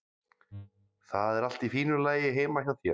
Það er allt í fínu lagi heima hjá þér.